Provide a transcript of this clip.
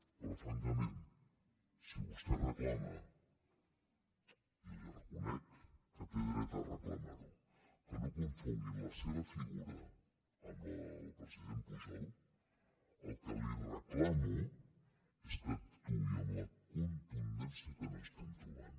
però francament si vostè reclama i li reconec que té dret a reclamar ho que no confonguin la seva figura amb la del president pujol el que li reclamo és que actuï amb la contundència que no estem trobant